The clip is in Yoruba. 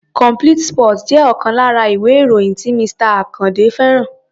Complete sports jẹ́ ọ̀kan lára ìwé-ìròyìn tí Mr. Àkàndé fẹ́ràn.